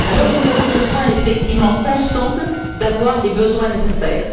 Nous avons besoin effectivement, ensemble, d'avoir les besoins nécessaires.